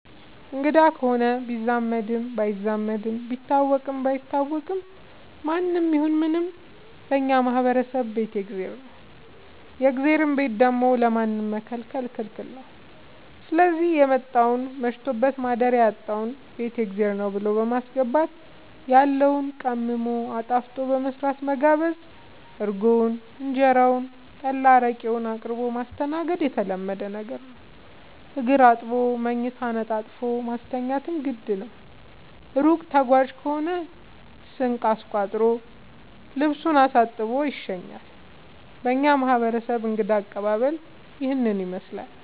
አንግዳ ከሆነ ቢዛመድም ባይዛመድም ቢታወቅም ባይታወቅም ማንም ይሁን ምንም በእኛ ማህበረሰብ ቤት የእግዜር ነው። የእግዜርን ቤት ደግሞ ለማንም መከልከል ክልክል ነው ስዚህ የመጣውን መሽቶበት ማደሪያ ያጣውን ቤት የእግዜር ብሎ በማስገባት ያለውን ቀምሞ አጣፍጦ በመስራት መጋበዝ እርጎውን እንጀራውን ጠላ አረቄውን አቅርቦ ማስተናገድ የተለመደ ነገር ነው። እግር አጥቦ መኝታ አንጥፎ ማስተኛትም ግድ ነው። እሩቅ ተጓዥ ከሆነ ስንቅ አስቋጥሮ ልሱን አሳጥቦ ይሸኛል። በእኛ ማህረሰብ እንግዳ አቀባሀል ይህንን ይመስላል።